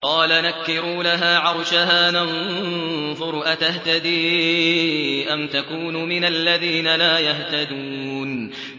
قَالَ نَكِّرُوا لَهَا عَرْشَهَا نَنظُرْ أَتَهْتَدِي أَمْ تَكُونُ مِنَ الَّذِينَ لَا يَهْتَدُونَ